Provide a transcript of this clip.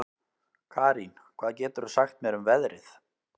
Karín, hvað geturðu sagt mér um veðrið?